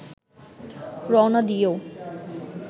রওনা দিয়েও